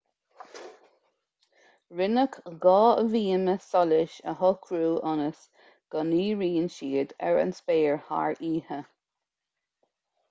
rinneadh dhá bhíoma solais a shocrú ionas go ndíríonn siad ar an spéir thar oíche